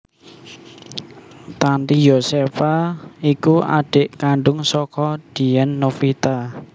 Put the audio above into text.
Tanty Yosepha iku adhik kandhung saka Dien Novita